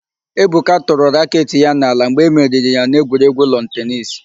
Ebuka tụrụ raketị ya n'ala mgbe e meriri ya n'egwuregwu lọnụ tenisi.